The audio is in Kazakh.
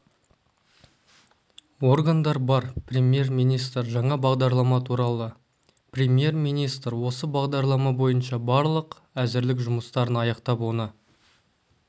органдар бар премьер-министр жаңа бағдарлама туралы премьер-министр осы бағдарлама бойынша барлық әзірлік жұмыстарын аяқтап оны